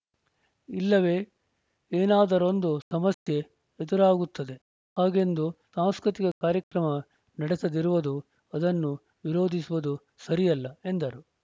ಇಲ್ಲವೇ ಏನಾದರೊಂದು ಸಮಸ್ಯೆ ಎದುರಾಗುತ್ತದೆ ಹಾಗೆಂದು ಸಾಂಸ್ಕೃತಿಕ ಕಾರ್ಯಕ್ರಮ ನಡೆಸದಿರುವುದು ಅದನ್ನು ವಿರೋಧಿಸುವುದು ಸರಿಯಲ್ಲ ಎಂದರು